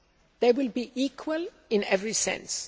They will be equal in every sense.